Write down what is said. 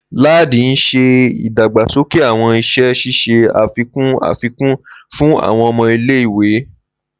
Ladi n ṣe idagbasoke awọn iṣẹ ṣiṣe afikun afikun fun awọn ọmọ ile-iwe.